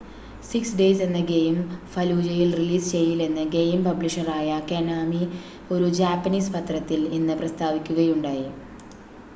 six days എന്ന game ഫലൂജയിൽ release ചെയ്യില്ലെന്ന് ഗെയിം പബ്ലിഷറായ കൊനാമി ഒരു ജാപ്പനീസ് പത്രത്തിൽ ഇന്ന് പ്രസ്താവിക്കുകയുണ്ടായി